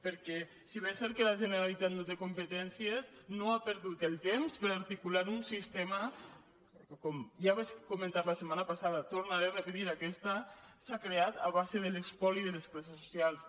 perquè si bé és cert que la generalitat no hi té competències no ha perdut el temps per articular un sistema que com ja vaig comentar la setmana passada ho tornaré a repetir aquesta s’ha creat a base de l’espoli de les classes socials